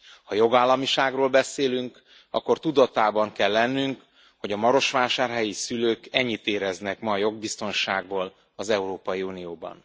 Ha jogállamiságról beszélünk, akkor tudatában kell lennünk, hogy a marosvásárhelyi szülők ennyit éreznek ma a jogbiztonságból az Európai Unióban.